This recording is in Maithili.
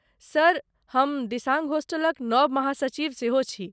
सर, हम दिसांग होस्टलक नव महासचिव सेहो छी।